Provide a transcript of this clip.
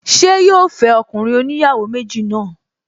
Ṣé yóò fẹ́ ọkùnrin oníyàwó méjì náà?